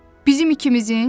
Bizim ikimizin?